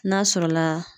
N'a sɔrɔla